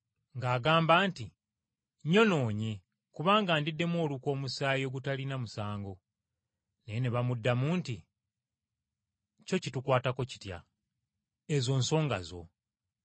ng’agamba nti, “Nnyonoonye, kubanga ndiddemu olukwe omusaayi ogutalina musango.” Naye ne bamuddamu nti, “kyo kitukwatako kitya? Ezo nsoga zo.”